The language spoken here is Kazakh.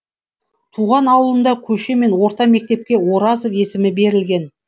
туған ауылында көше мен орта мектепке оразов есімі берілген